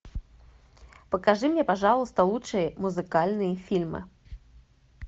покажи мне пожалуйста лучшие музыкальные фильмы